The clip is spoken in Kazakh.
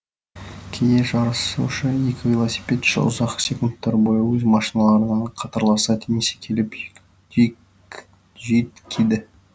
кейде жарысушы екі велосипедші ұзақ секундтар бойы өз машиналарында қатарласа теңесе келіп жүйткиді